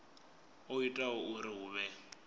o ita uri hu vhe